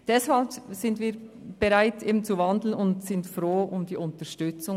Deshalb sind wir bereit zu wandeln und froh über Ihre Unterstützung.